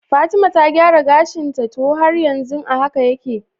Fatima ta gyara gashinta ko har yanzu a haka yake?